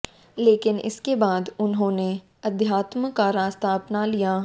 लेकिन इसके बाद उन्होंने अध्यात्म का रास्ता अपना लिया